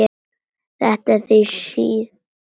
Þetta er því síðbúin kveðja.